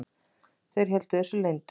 Þeir héldu þessu leyndu.